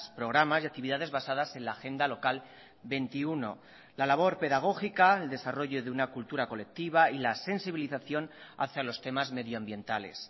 programas y actividades basadas en la agenda local veintiuno la labor pedagógica el desarrollo de una cultura colectiva y la sensibilización hacia los temas medioambientales